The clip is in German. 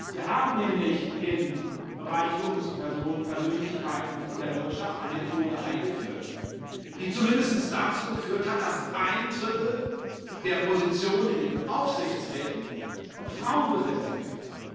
Wir haben nämlich im Bereich Führungspersönlichkeiten in der Wirtschaft eine Quote eingeführt, die zumindest dazu geführt hat, dass ein Drittel der Positionen in den Aufsichtsräten von Frauen besetzt werden.